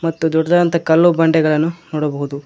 ಮತ್ತು ದೊಡ್ಡದಾಂಥ ಕಲ್ಲು ಬಂಡೆಗಳನ್ನು ನೋಡಬಹುದು.